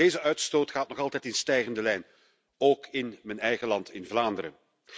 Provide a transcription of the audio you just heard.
Deze uitstoot gaat nog altijd in stijgende lijn, ook in mijn eigen land, in Vlaanderen.